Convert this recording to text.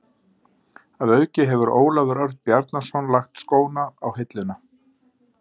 Að auki hefur Ólafur Örn Bjarnason lagt skóna á hilluna.